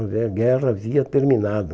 A guerra havia terminado.